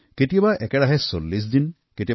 কেতিয়াবা একেৰাহে ৪০ দিন পানীৰ মাজতে থাকিব